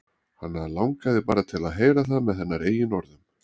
Hann langaði bara til að heyra það með hennar eigin orðum.